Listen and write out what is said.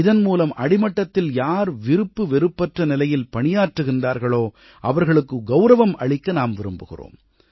இதன் மூலம் அடிமட்டத்தில் யார் விருப்பு வெறுப்பற்ற நிலையில் பணியாற்றுகிறார்களோ அவர்களுக்கு கௌரவம் அளிக்க நாம் விரும்புகிறோம்